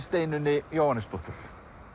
Steinunni Jóhannesdóttur